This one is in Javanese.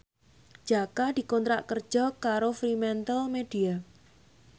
Jaka dikontrak kerja karo Fremantlemedia